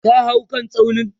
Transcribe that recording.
ka hau kan tsaunin!